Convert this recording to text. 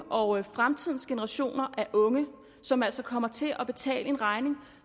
og fremtidens generationer af unge som altså kommer til at betale en regning